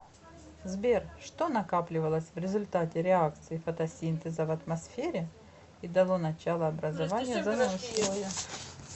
сбер что накапливалось в результате реакции фотосинтеза в атмосфере и дало начало образованию озонового слоя